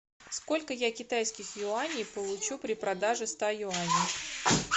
сколько я китайских юаней получу при продаже ста юаней